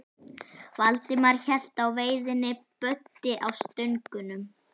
Valdimar hélt á veiðinni, Böddi á stöngunum.